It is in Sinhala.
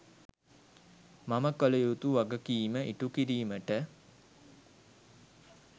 මම කළ යුතු වගකීම ඉටු කිරීමට